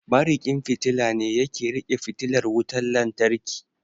Mariƙin fitila ne yake riƙe fitilar wutan lantarki